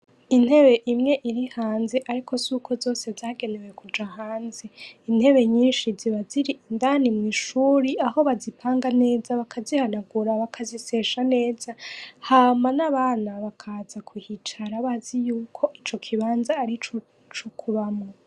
Intebe imwe iri hanze ariko suko zose zagenewe kuja hanze. Intebe nyinshi ziba ziri indani mw' ishuri aho bazipanga neza, bakazihanagura bakazisesha neza, Hama n' abana bakaza kuhicara bazi yuko ico kibanza arico kubamwo.